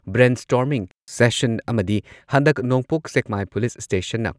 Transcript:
brain storming session ꯑꯃꯗꯤ ꯍꯟꯗꯛ Nongpok Sekmai police ꯁ꯭ꯇꯦꯁꯟꯅ